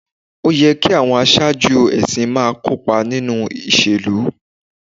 Ó yẹ kí àwọn aṣáájú ẹ̀sìn máa kópa nínú ìṣèlú